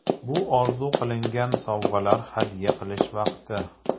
Bu orzu qilingan sovg‘alar hadya qilish vaqti.